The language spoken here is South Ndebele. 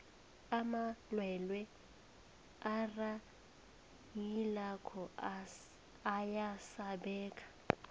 amalwelwe arhayilako ayasabeka